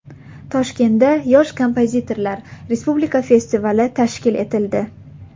Toshkentda Yosh kompozitorlar respublika festivali tashkil etildi.